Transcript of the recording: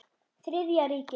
Þriðja ríkinu.